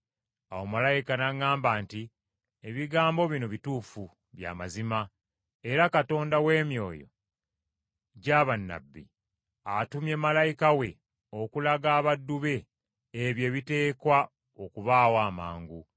Awo malayika n’aŋŋamba nti, “Ebigambo bino bituufu, bya mazima. Era Katonda w’emyoyo gya bannabbi, atumye malayika we okulaga abaddu be ebyo ebiteekwa okubaawo amangu.”